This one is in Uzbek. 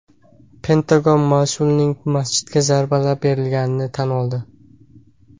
Pentagon Mosuldagi masjidga zarbalar berilganligini tan oldi.